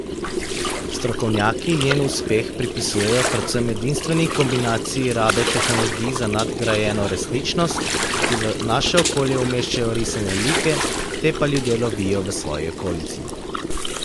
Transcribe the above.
Strokovnjaki njen uspeh pripisujejo predvsem edinstveni kombinaciji rabe tehnologij za nadgrajeno resničnost, ki v naše okolje umeščajo risane like, te pa ljudje lovijo v svoji okolici.